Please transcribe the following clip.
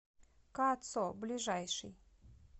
кацо ближайший